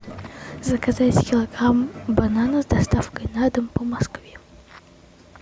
заказать килограмм бананов с доставкой на дом по москве